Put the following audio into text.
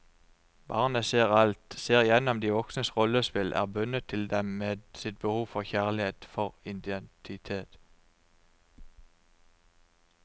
Barnet ser alt, ser igjennom de voksnes rollespill, er bundet til dem med sitt behov for kjærlighet, for identitet.